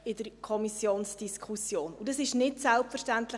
Und das ist bei diesem Thema nicht selbstverständlich.